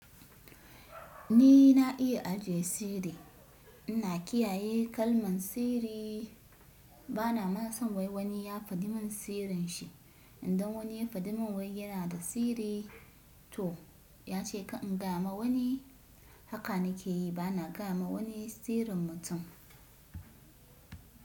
Ni na iya ajiye sirri. Ina kiyaye kalman sirri. Bana ma son wai wani ya faɗi min sirrin shi. Idan wani ya faɗi min wai yana da sirri to ya ce ka in kama wani. Haka na ke yi bana gayama wani sirrin mutum.